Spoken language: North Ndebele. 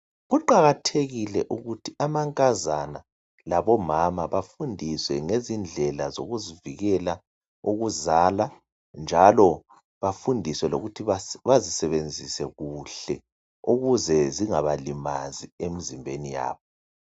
Kuqakathekile ukuthi amankazana labomama bafundiswe ngezindlela zokuzivikela ukuzala njalo bafundiswe lokuthi bazisebenzise kuhle ukuze zingabalimazi emzimbeni yabo.